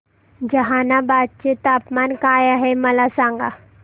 जहानाबाद चे तापमान काय आहे मला सांगा